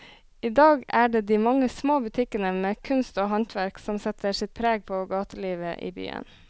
I dag er det de mange små butikkene med kunst og håndverk som setter sitt preg på gatelivet i byen.